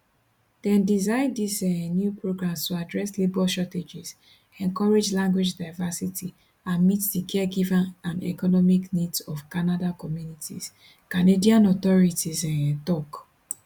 dem design dis um new programs to address labor shortages encourage language diversity and meet di caregiving and economic needs of canada communities canadian authorties um tok